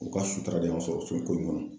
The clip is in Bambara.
O ka sutura de y'an sɔrɔ so ko in kɔnɔ.